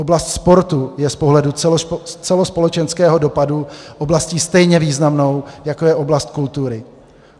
Oblast sportu je z pohledu celospolečenského dopadu oblastí stejně významnou, jako je oblast kultury.